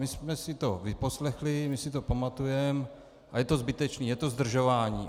My jsme si to vyposlechli, my si to pamatujeme a je to zbytečné, je to zdržování.